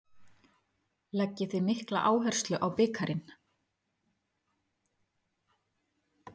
Leggið þið mikla áherslu á bikarinn?